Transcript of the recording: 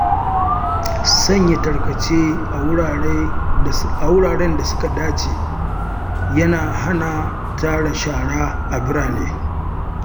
Sanya tarkace a wuraren da suka dace yana hana tara shara a birane.